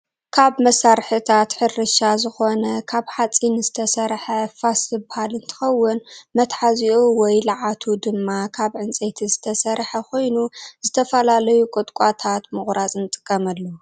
ካብ መሳርሒታት ሕርሻ ዝኮነ ካብ ሓፂን ዝተሰረሐ ፋስ ዝበሃል እንትከውን መተሓዚኡ ወይ ለዓቱ ድማ ካብ ዕንፀይቲ ዝተሰረሐ ኮይኑ ዝተፈላለዩ ቆጥቋጣት ምቁራፅ ንጥቀመሉ።